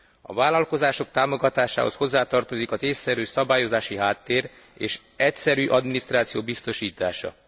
A vállalkozások támogatásához hozzátartozik az ésszerű szabályozási háttér és egyszerű adminisztráció biztosítása.